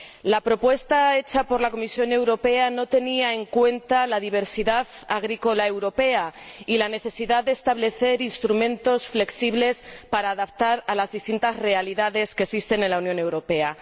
La propuesta hecha por la Comisión Europea no tenía en cuenta la diversidad agrícola europea ni la necesidad de establecer instrumentos flexibles para adaptarse a las distintas realidades que existen en la Unión Europea.